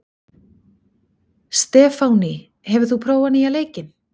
Stefánný, hefur þú prófað nýja leikinn?